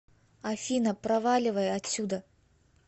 афина проваливай отсюда